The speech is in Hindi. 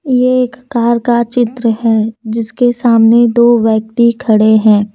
यह एक कार का चित्र है जिसके सामने दो व्यक्ति खड़े हैं।